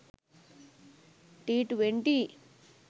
t20